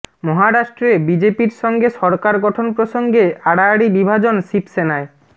মহারাষ্ট্রে বিজেপির সঙ্গে সরকার গঠন প্রসঙ্গে আড়াআড়ি বিভাজন শিবসেনায়